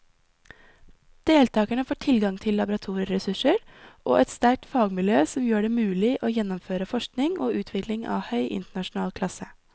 Deltakerne får tilgang til laboratorieressurser og et sterkt fagmiljø som gjør det mulig å gjennomføre forskning og utvikling av høy internasjonal klasse.